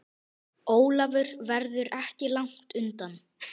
Ólafur verður ekki langt undan.